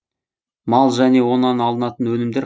мал және онан алынатын өнімдер